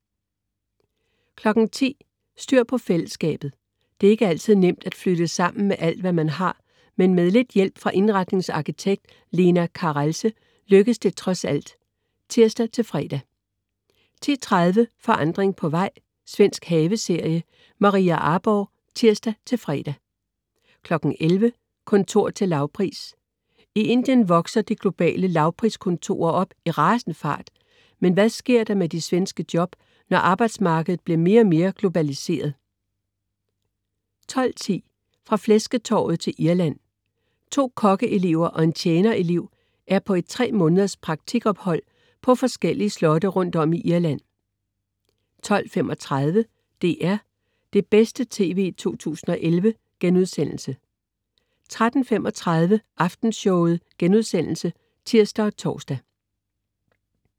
10.00 Styr på fællesskabet. Det er ikke altid nemt at flytte sammen med alt, hvad man har, men med lidt hjælp fra indretningsarkitekt Leena Carelse lykkes det trods alt (tirs-fre) 10.30 Forandring på vej. Svensk haveserie. Maria Arborgh (tirs-fre) 11.00 Kontor til lavpris. I Indien vokser de globale "lavpriskontorer" op i rasende fart, men hvad sker der med de svenske job, når arbejdsmarkedet bliver mere og mere globaliseret? 12.10 Fra flæsketorvet til Irland. To kokkeelever og en tjener elev er på et tre måneders praktik ophold på forskellige slotte rundt om i Irland 12.35 DR: Det bedste TV 2011* 13.35 Aftenshowet* (tirs og tors)